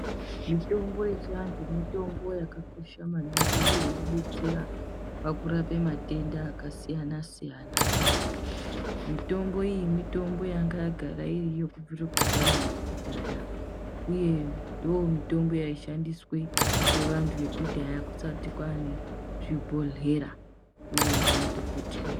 Mitombo yechiantu mitombo yakakosha maningi uye inobetsera pakurapa matenda akasiyana-siyana. Mitombo iyi mitombo yangayagara iriyo kubvira kudhaya nekudhaya, uye ndomitombo yaishandiswe ngevantu vakudhaya kusati kwane zvibhedhleya, uye nemadhokoteya